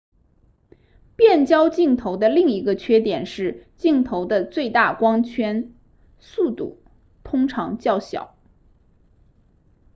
变焦镜头的另一个缺点是镜头的最大光圈速度通常较小